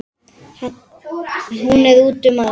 Hún er úti um allt.